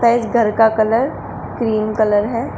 इस घर का कलर क्रीम कलर है।